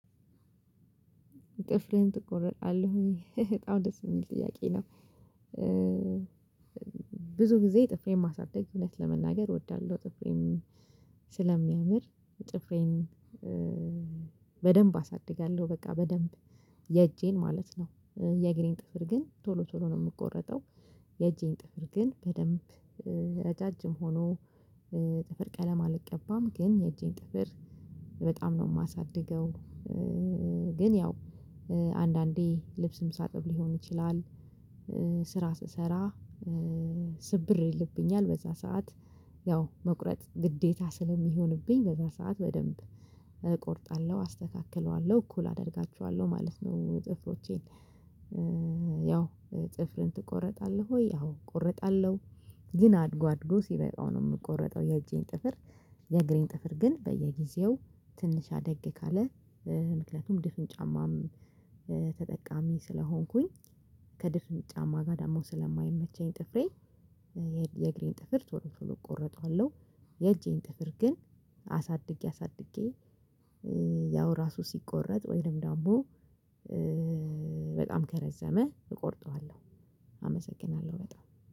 ጥፍልህን ትቆረጣለህ በጣም ደስ የሚል ጥያቄ ነው። ብዙ ጊዜ ጥፍሬን ማሳደግ እውነት ለመናገር እወዳለሁ ጥፍሬም ስለሚያምር ጥፍሬን በደንብ አሳድጋለሁ በቃ በደንብ የእጄን ማለት ነው። የግሬን ጥፍር ግን ቶሎ ቶሎ ነው የምቆረጠው የእጄን ጥፍር ግን በደንብ ረጃጅም ሆኖ ጥፍር ቀለም አልቀባም ግን የእጄን ጥፍር በጣም ነው የማሳድገው። ግን ያው አንዳንዴ ልብስም ሳጥብ ሊሆን ይችላል ስራ ስብራ ስብር ይልብኛል በዛ ሰዓት ያው መቁረጥ ግዴታ ስለሚሆንብኝ በዛ ሰዓት በደንብ እቆርጣለሁ አስተካክለዋለሁ እኩል አደርጋቸዋለሁ ማለት ነው ጥፍሮቼን። ጥፍርን ትቆረጣለህ ወይ? አዎ ቆረጣለሁ። ግን አድጎ አድጎ ሲበቃው ነው የምቆረጠው የእጄን ጥፍር። የእግሬን ጥፍር ግን በየጊዜው ትንሽ አደግ ካለ ምክንያቱም ድፍን ጫማም ተጠቃሚ ስለሆንኩኝ ከድፍን ጫማ ጋር ደግሞ ስለማይመቸኝ ጥፍሬ የእግሬን ጥፍር ትወርፍን ቆርጠዋለሁ። የእጄን ጥፍር ግን አሳድጌ አሳድጌ ያው ራሱ ሲቆረጥ ወይም ደግሞ በጣም ከረዘመ እቆርጠዋለሁ። አመሰግናለሁ በጣም